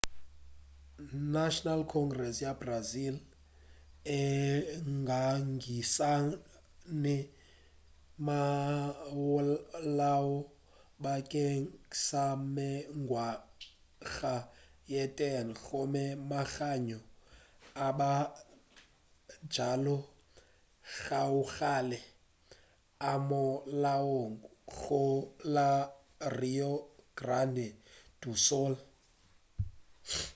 national congress ya brazil e ngangišane ka molao bakeng sa mengwaga ye 10 gome manyalo a mabjalo gabjale a molaong go la rio grande do sul